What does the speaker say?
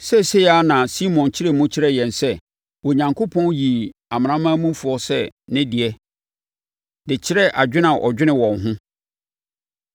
Seesei ara na Simon kyerɛɛ mu kyerɛɛ yɛn sɛ Onyankopɔn yii amanamanmufoɔ sɛ ne de, de kyerɛɛ dwene a ɔdwene wɔn ho.